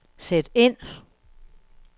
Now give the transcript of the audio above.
sæt ind